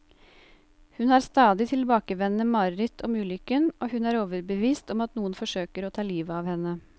Hun har stadig tilbakevendende mareritt om ulykken, og hun er overbevist om at noen forsøker å ta livet av henne.